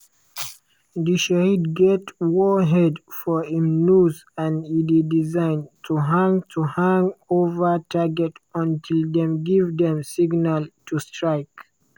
di shahed get warhead for im nose and e dey designed to hang to hang ova target until dem give dem signal to strike.